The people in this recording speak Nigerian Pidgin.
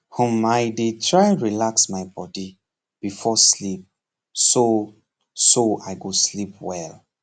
hmmi dey try relax my body before sleep so so i go sleep well